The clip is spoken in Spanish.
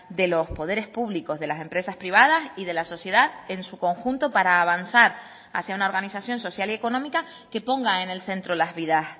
de los poderes públicos de las empresas privadas y de la sociedad en su conjunto para avanzar hacia una organización social y económica que ponga en el centro las vidas